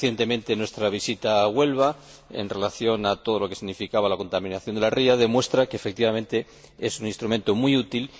Recientemente nuestra visita a Huelva en relación con todo lo que significaba la contaminación de la ría, demuestra que, efectivamente, es un instrumento muy útil.